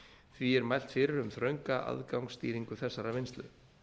því er mælt fyrir um þrönga aðgangsstýringu þessarar vinnslu